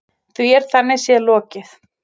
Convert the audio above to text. Því er þannig séð lokið.